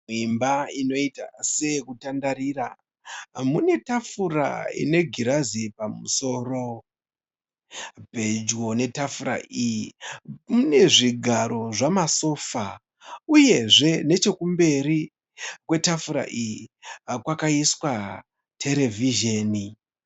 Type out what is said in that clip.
Imba inoita seyekutandarira mune tafura ine girazi pamusoro. Pedyo netafura iyi mune zvigaro zvamasofa uyezve nechekumberi kwetafura iyi kwakaiswa terevhizheni.